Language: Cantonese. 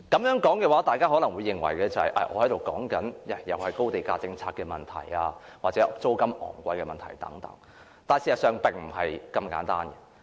我這樣說，大家可能會認為我又在討論高地價政策或租金昂貴的問題等，但事實並不是這麼簡單。